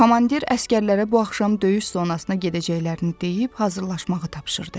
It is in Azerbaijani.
Komandir əsgərlərə bu axşam döyüş zonasına gedəcəklərini deyib, hazırlaşmağı tapşırdı.